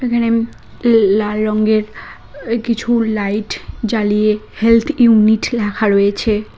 এখানে ইম লাল রঙ্গের কিছু লাইট জ্বালিয়ে হেলথ ইউনিট লেখা রয়েছে।